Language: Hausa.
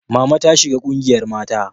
Mama ta shiga ƙungiyar mata